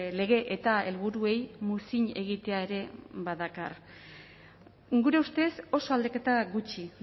lege eta helburuei muzin egitea ere badakar gure ustez oso aldaketa gutxi